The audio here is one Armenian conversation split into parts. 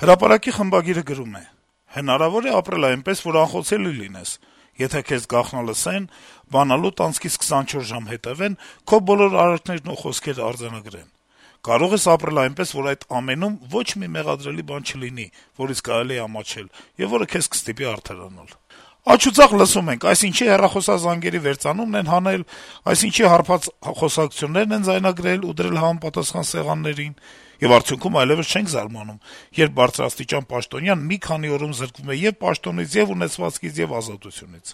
«Հրապարակ»-ի խմբագիրը գրում է. -« Հնարավո՞ր է ապրել այնպես, որ անխոցելի լինես՝ եթե քեզ գաղտնալսեն, բանալուդ անցքից 24 ժամ հետեւեն, քո բոլոր արարքներն ու խոսքերն արձանագրեն: Կարո՞ղ ես ապրել այնպես, որ այդ ամենում ոչ մի մեղադրելի բան չլինի, որից կարելի է ամաչել, եւ որը քեզ կստիպի արդարանալ: Աջուձախ լսում ենք՝ այսինչի հեռախոսազանգերի վերծանումն են հանել, այնինչի հարբած խոսակցություններն են ձայնագրել ու դրել համապատասխան սեղաններին: Եվ արդյունքում այլեւս չենք զարմանում, երբ բարձրաստիճան պաշտոնյան մի քանի օրում զրկվում է ե'ւ պաշտոնից, ե'ւ ունեցվածքից, ե'ւ ազատությունից: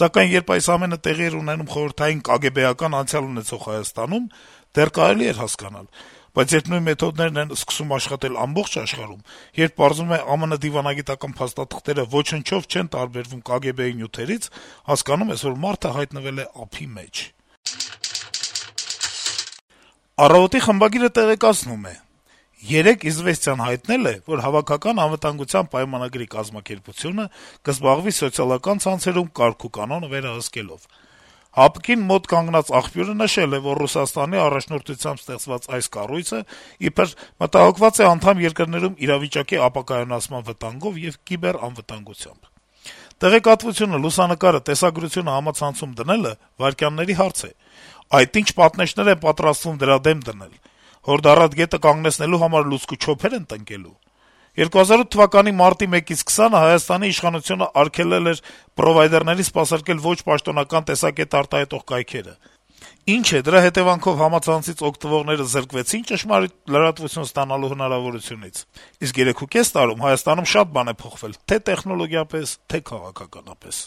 Սակայն երբ այս ամենը տեղի էր ունենում խորհրդային կագեբեական անցյալ ունեցող Հայաստանում, դեռ կարելի էր հասկանալ, բայց երբ նույն մեթոդներն են սկսում աշխատել ամբողջ աշխարհում, երբ պարզվում է՝ ԱՄՆ դիվանագիտական փաստաթղթերը ոչնչով չեն տարբերվում «կագեբեի» նյութերից, հասկանում ես, որ մարդը հայտնվել է ափի մեջ»: «Առավոտ»-ի խմբագիրը տեղեկացնում է. - «Երեկ «Իզվեստիան» հայտնել է, որ Հավաքական անվտանգության պայմանագրի կազմակերպությունը (ՀԱՊԿ) կզբաղվի սոցիալական ցանցերում «կարգուկանոնը վերականգնելով»: ՀԱՊԿ-ին մոտ կանգնած աղբյուրը նշել է, որ Ռուսաստանի առաջնորդությամբ ստեղծված այս կառույցը իբր մտահոգված է անդամ երկրներում իրավիճակի ապակայունացման վտանգով եւ «կիբեռանվտանգությամբ»: Տեղեկատվությունը, լուսանկարը, տեսագրությունը համացանցում դնելը վայրկյանների հարց է: Այդ ի՞նչ պատնեշներ են պատրաստվում դրա դեմ դնել: Հորդառատ գետը կանգնեցնելու համար լուցկու չոփե՞ր են տնկելու: 2008 թվականի մարտի 1-ից 20-ը Հայաստանի իշխանությունը արգելել էր պրովայդերներին սպասարկել ոչ պաշտոնական տեսակետ արտահայտող կայքերը: Ի՞նչ է, դրա հետեւանքով համացանցից օգտվողները զրկվեցի՞ն լրատվություն ստանալու հնարավորությունից: Իսկ 3,5 տարում Հայաստանում շատ բան է փոխվել թե' տեխնոլոգիապես, թե' քաղաքականապես»: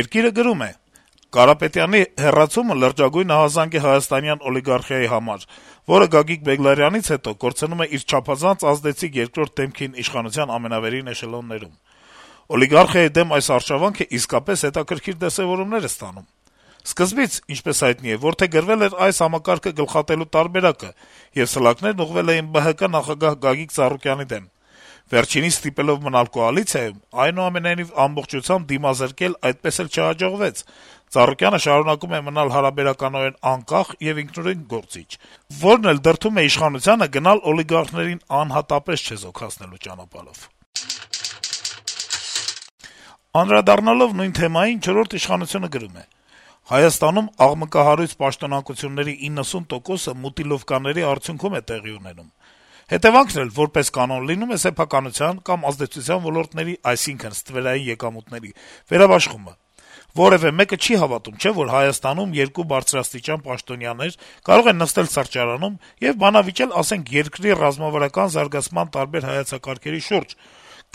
«Երկիր»-ը գրում է. - «Կարապետյանի հեռացումը լրջագույն ահազանգ է նաեւ հայաստանյան օլիգարխիայի համար, որը Գագիկ Բեգլարյանից հետո կորցնում է իր չափազանց ազդեցիկ երկրորդ դեմքին իշխանության ամենավերին էշելոններում: Օլիգարխիայի դեմ այս արշավանքն իսկապես հետաքրքիր դրսեւորումներ է ստանում: Սկզբից, ինչպես հայտնի է, որդեգրվել էր այս համակարգը գլխատելու տարբերակը, եւ սլաքներն ուղղվել էին ԲՀԿ նախագահ Գագիկ Ծառուկյանի դեմ: Վերջինիս ստիպելով մնալ կոալիցիայում, այնուամենայնիվ, ամբողջությամբ դիմազրկել այդպես էլ չհաջողվեց: Ծառուկյանը շարունակում է մնալ հարաբերականորեն անկախ եւ ինքնուրույն գործիչ, որն էլ դրդում է իշխանությանը գնալ օլիգարխներին անհատապես չեզոքացնելու ճանապարհով»: Անդրադառնալով նույն թեմային` «Չորրորդ ինքնիշխանություն»-ը գրում է. - «Հայաստանում աղմկահարույց պաշտոնանկությունների շուրջ 90 տոկոսը «մուտիլովկաների» արդյունքում է տեղի ունենում, հետեւանքն էլ, որպես կանոն, լինում է սեփականության կամ ազդեցության ոլորտների (այսինքն` ստվերային եկամուտների) վերաբաշխումը: Որեւէ մեկը չի հավատում, չէ՞, որ Հայաստանում երկու բարձրաստիճան պաշտոնյաներ կարող են նստել սրճարանում եւ բանավիճել, ասենք, երկրի ռազմավարական զարգացման տարբեր հայեցակարգերի շուրջ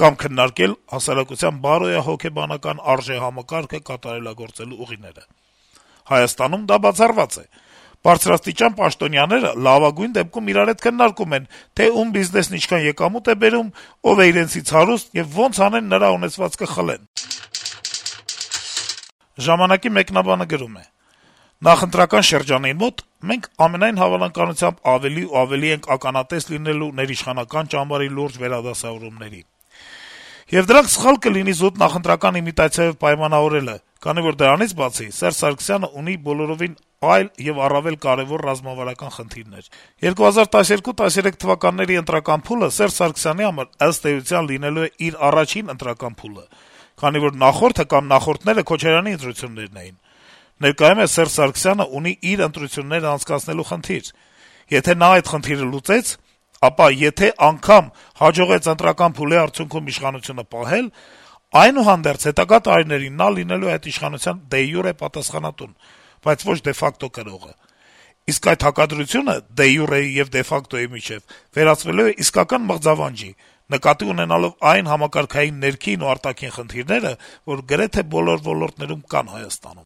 կամ քննարկել հասարակության բարոյահոգեբանական արժեհամակարգը կատարելագործելու ուղիները: Հայաստանում դա բացառված է: Բարձրաստիճան պաշտոնյաները լավագույն դեպքում իրար հետ քննարկում են, թե ում բիզնեսն ինչքան եկամուտ է բերում, ով է իրենցից հարուստ եւ ոնց անեն` նրա ունեցվածքը խլեն»: «Ժամանակ»-ի մեկնաբանը գրում է. -«Նախընտրական շրջանին մոտ մենք, ամենայն հավանականությամբ, ավելի ու ավելի ենք ականատես լինելու ներիշխանական ճամբարի լուրջ վերադասավորումների: Եվ դրանք սխալ կլինի զուտ նախընտրական իմիտացիայով պայմանավորելը, քանի որ դրանից բացի, Սերժ Սարգսյանը ունի բոլորովին այլ եւ առավել կարեւոր ռազմավարական խնդիրներ: 2012-13 թվականների ընտրական փուլը Սերժ Սարգսյանի համար, ըստ էության, լինելու է իր առաջին ընտրական փուլը, քանի որ նախորդը կամ նախորդները Քոչարյանի ընտրություններն էին: Ներկայումս Սերժ Սարգսյանը ունի իր ընտրությունները անցկացնելու խնդիր: Եթե նա այդ խնդիրը չլուծեց, ապա եթե անգամ հաջողեց ընտրական փուլի արդյունքում իշխանությունը պահել, այնուհանդերձ, հետագա տարիներին նա լինելու է այդ իշխանության դե յուրե պատասխանատուն, բայց ոչ դե ֆակտո կրողը: Իսկ այդ հակադրությունը դե յուրեի եւ դե ֆակտոյի միջեւ վերածվելու է իսկական մղձավանջի` նկատի ունենալով այն համակարգային ներքին ու արտաքին խնդիրները, որ գրեթե բոլոր ոլորտներում կան Հայաստանում»: